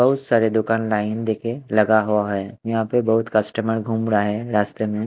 बहुत सारे दुकान लाइन देके लगा हुआ है यहां पे बहुत कस्टमर घूम रहा है रास्ते में।